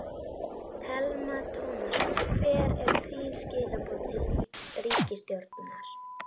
Telma Tómasson: Hver eru þín skilaboð til ríkisstjórnar?